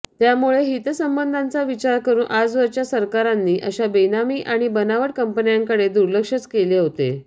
त्यामुळे हितसंबंधांचा विचार करून आजवरच्या सरकारांनी अशा बेनामी आणि बनावट कंपन्यांकडे दुर्लक्षच केले होते